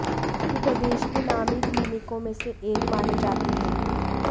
ये प्रदेश के नामी क्लीनिकों में से एक माने जाते हैं